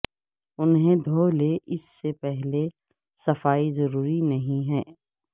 انہیں دھو لیں اس سے پہلے صفائی ضروری نہیں ہے